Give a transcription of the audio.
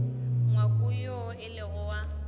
ngwako woo e lego wa